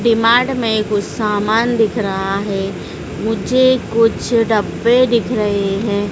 V-Mart में कुछ सामान दिख रहा है मुझे कुछ डब्बे दिख रहे हैं।